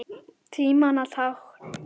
Tímanna tákn?